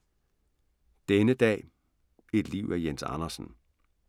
Denne dag, et liv af Jens Andersen